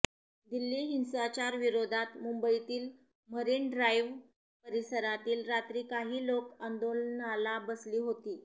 दिल्ली हिंसाचार विरोधात मुंबईतील मरीन ड्राईव्ह परिसरात रात्री काही लोक आंदोलनाला बसली होती